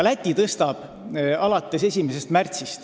Läti tõstab seda määra 1. märtsil.